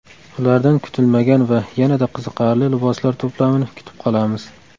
Ulardan kutilmagan va yanada qiziqarli liboslar to‘plamini kutib qolamiz.